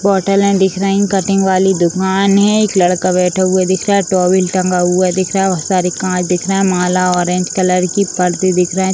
बोटले दिख रही कटिंग वाली दूकान है। एक लड़का बैठा हुआ दिख रहा है। टॉवल टंगा हुआ दिख रहा है। और सारे कांच दिख रहा है। माला ऑरेंज कलर की पर्दे दिख रहे है।